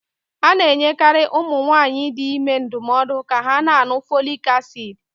A na enyekari ụmụ nwanyị dị ime ndụmọọdu ka ha na añụ fọlịk acid